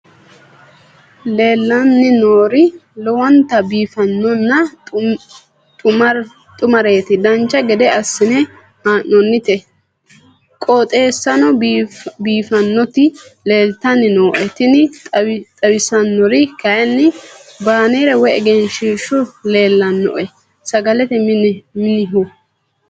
leellanni nooeri lowonta biiffinonna xumareeti dancha gede assine haa'noonniti qooxeessano biiffinoti leeltanni nooe tini xawissannori kayi banere woy egenshshiishu leellannoe sagalete minihu